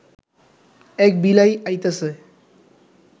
এক বিলাই আইতাছে